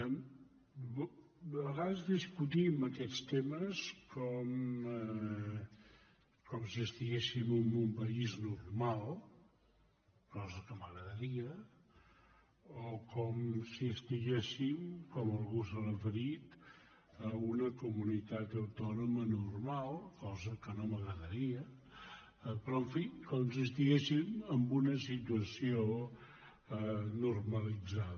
a vegades discutim aquests temes com si estiguéssim en un país normal cosa que m’agradaria o com si estiguéssim com algú s’hi ha referit a una comunitat autònoma normal cosa que no m’agradaria però en fi com si estiguéssim en una situació normalitzada